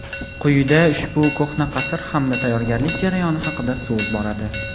Quyida ushbu ko‘hna qasr hamda tayyorgarlik jarayoni haqida so‘z boradi.